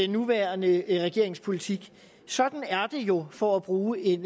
nuværende regerings politik sådan er det jo for at bruge en